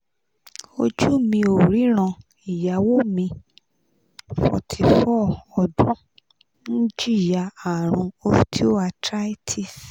ojú mi ò ríran ìyàwó mi forty four ọdún) ń jìyà àrùn osteoarthritis